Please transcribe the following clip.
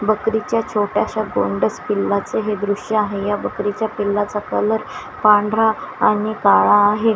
बकरीच्या छोट्याशा गोंडस पिल्लाचे हे दृश्य आहे या बकरीच्या पिल्लाचा कलर पांढरा आणि काळा आहे.